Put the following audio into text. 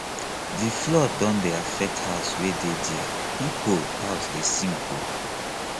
di flood don dey affect house wey dey there pipo house dey sink o